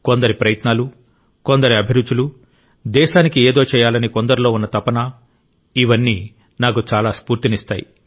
కొందరి ప్రయత్నాలు కొందరి అభిరుచులు దేశానికి ఏదో చేయాలని కొందరిలో ఉన్న తపన ఇవన్నీ నాకు చాలా స్ఫూర్తినిస్తాయి